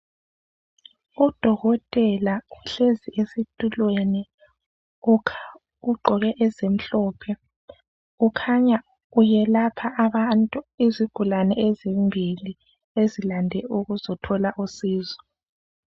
UDokotela uhlezi esitulweni ugqoke ezimhlope kukhanya uyelapha abantu izigulane ezimbili ezilande ukuzothola usizo.